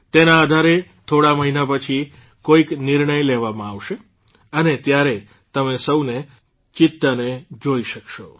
તેના આધારે થોડા મહિના પછી કોઇક નિર્ણય લેવામાં આવશે અને ત્યારે તમે સૌ ચિત્તાને જોઇ શકશો